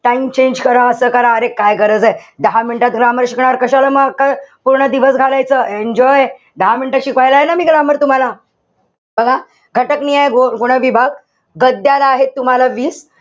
Time change करा असं करा? अरे काय गरजे? दहा minute त grammar शिकणार. कशाला मग क पूर्ण दिवस घालायचं? Enjoy दहा minute त शिकवायला आहे ना मी grammar तुम्हाला. बघा घटकनीय गुण विभाग, गद्याला आहे तुम्हाला वीस.